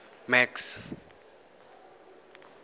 max